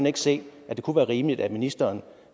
ikke se det kunne være rimeligt hvis ministeren